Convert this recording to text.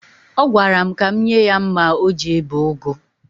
Ọ gwara m ka m nye ya mma o ji ebe ụgụ.